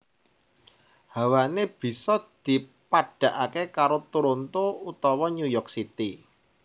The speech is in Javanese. Hawané bisa dipadhakaké karo Toronto utawa New York City